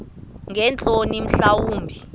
ngeentloni mhla wumbi